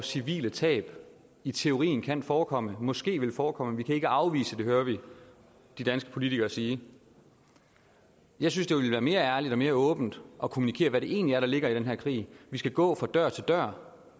civile tab i teorien kan forekomme og måske vil forekomme vi kan ikke afvise det hører vi de danske politikere sige jeg synes det ville være mere ærligt og mere åbent at kommunikere hvad det egentlig er der ligger i den her krig vi skal gå fra dør til dør